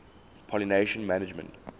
pollination management